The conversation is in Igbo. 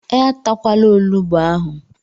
E takwala onugbu ahụ!